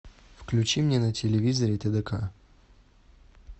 включи мне на телевизоре тдк